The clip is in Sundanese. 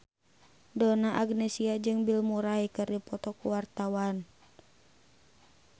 Donna Agnesia jeung Bill Murray keur dipoto ku wartawan